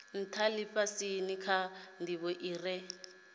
ntha lifhasini kha ndivho ire